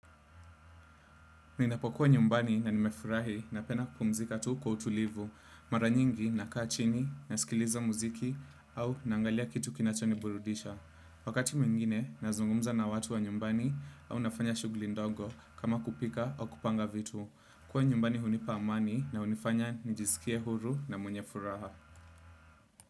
Ninapokuwa nyumbani na nimefurahi na penda kupumzika tu kwa utulivu, mara nyingi na kaa chini, nasikiliza muziki au naangalia kitu kinachoni burudisha. Wakati mwingine, nazungumza na watu wa nyumbani au nafanya shughuli ndogo kama kupika au kupanga vitu. Kuwa nyumbani hunipa amani na hunifanya nijisikie huru na mwenye furaha.